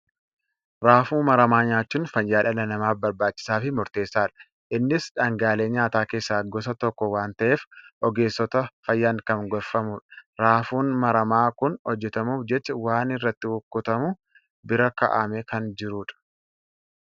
Raafuu maramaa nyaachuun fayyaa dhala namaaf barbaachisaa fi murteessaadha. Innis dhaangaalee nyaataa keessaa gosa tokko waan ta'eef, ogeessota fayyaan kan gorfamudha. Raafuun maramaaa kun hojjetamuuf jecha, waan irratti kukkutamu bira kaa'amee kan jirudha.